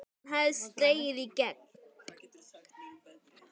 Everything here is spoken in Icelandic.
Hann hafði slegið í gegn.